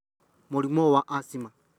Mũrimũ wa Asthma: